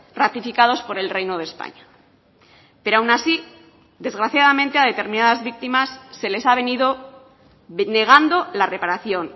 ratificados por el reino de españa pero aun así desgraciadamente a determinadas víctimas se les ha venido negando la reparación